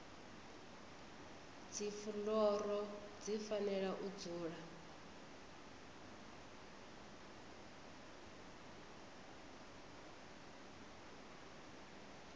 dzifuloro dzi fanela u dzula